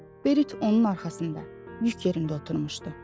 Berit onun arxasında, yük yerində oturmuşdu.